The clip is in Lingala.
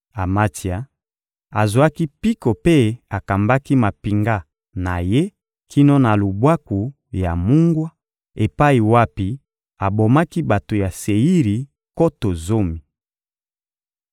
Amatsia azwaki mpiko mpe akambaki mampinga na ye kino na Lubwaku ya mungwa epai wapi abomaki bato ya Seiri nkoto zomi.